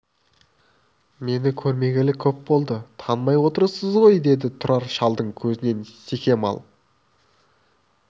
мені көрмегелі көп болды танымай отырсыз ғой деді тұрар шалдың көзінен секем алып